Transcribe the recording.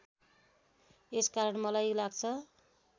यसकारण मलाई लाग्छ